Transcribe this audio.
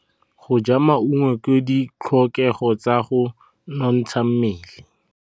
Go ja maungo ke ditlhokegô tsa go nontsha mmele.